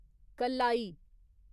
कल्लाई